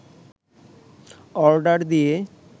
order দিয়ে